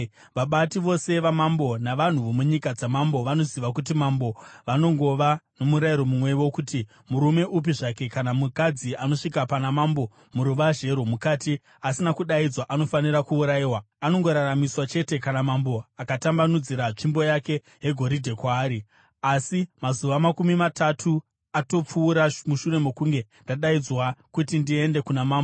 “Vabati vose vamambo navanhu vomunyika dzamambo vanoziva kuti mambo vanongova nomurayiro mumwe wokuti, murume upi zvake kana mukadzi anosvika pana mambo muruvazhe rwomukati asina kudaidzwa anofanira kuurayiwa. Anongoraramiswa chete kana mambo atambanudzira tsvimbo yake yegoridhe kwaari. Asi mazuva makumi matatu atopfuura mushure mokunge ndadaidzwa kuti ndiende kuna mambo.”